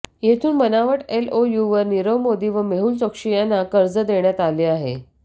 येथून बनावट एलओयूवर नीरव मोदी व मेहूल चोक्शी यांना कर्ज देण्यात आले आहे